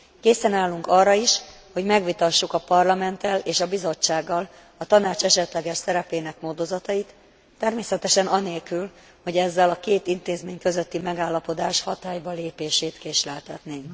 Készen állunk arra is, hogy megvitassuk a Parlamenttel és a Bizottsággal a Tanács esetleges szerepének módozatait, természetesen anélkül, hogy ezzel a két intézmény közötti megállapodás hatályba lépését késleltetnénk.